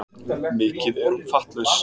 Mikið er hún fattlaus.